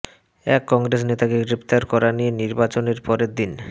এক কংগ্রেস নেতাকে গ্রেফতার করা নিয়ে নির্বাচনের পরের দিন